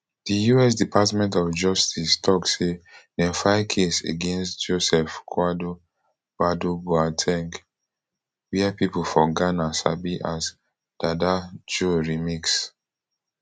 di us department of justice tok say dem file case against joseph kwadwo badu boa ten g wia pipo for ghana sabi as dada joe remix